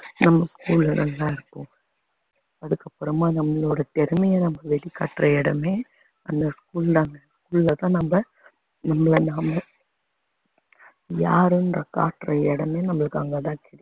நம்ம school அதுக்கு அப்பறமா நம்மளோட திறமைய நம்ம வெளிக்காட்டுற இடமே அந்த school தாங்க school அ நம்ம நம்மள நாமே யாருன்ற காட்டுற இடமே நம்மளுக்கு அங்க தான் தெரியும்